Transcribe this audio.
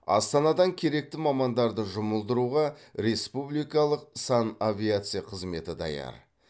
астанадан керекті мамандарды жұмылдыруға республикалық санавиация қызметі даяр